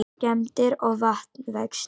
Skemmdir og vatnavextir